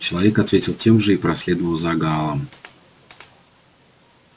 человек ответил тем же и проследовал за гаалом